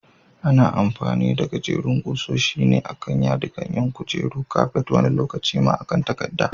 Ana amfani da gajerin ƙusoshi ne a can yadikan yin kujeru, kafet wani lokacin ma a kan takadda.